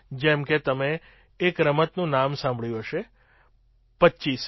જેમ કે તમે એક રમતનું નામ સાંભળ્યું હશે પચીસી